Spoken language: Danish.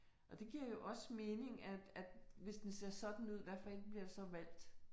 Og det giver jo også mening at at hvis den ser sådan ud, hvad for et bliver så valgt